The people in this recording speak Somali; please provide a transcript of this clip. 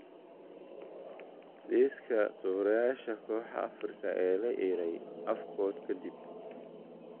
Liiska tababarayaasha kooxaha Afrika ee la eryay Afcon ka dib